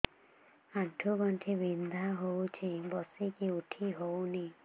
ଆଣ୍ଠୁ ଗଣ୍ଠି ବିନ୍ଧା ହଉଚି ବସିକି ଉଠି ହଉନି